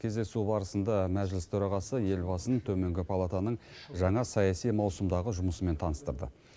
кездесу барысында мәжіліс төрағасы елбасын төменгі палатаның жаңа саяси маусымдағы жұмысымен таныстырды